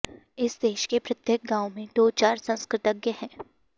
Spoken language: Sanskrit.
इस देश के प्रत्येक गाॅव में दो चार संस्कृतज्ञ है